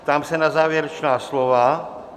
Ptám se na závěrečná slova.